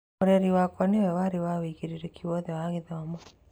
Mũreri wake nĩwe warĩ na wĩigĩrırĩki wothe wa gĩthomo.